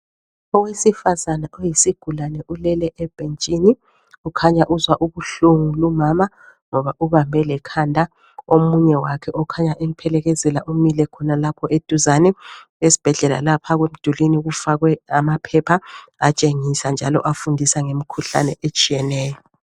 Owesifazane oyisigulane ulele ebhentshini ukhanya uzwa ubuhlungu lumama ngoba ubambe lekhanda. Omunye wakhe okhanya emphelekezela umile khonalapho eduzane. Esibhedlela lapha emdulini kufakwe amaphepha atshengisa njalo afundisa ngemikhuhlane etshiyeneyo.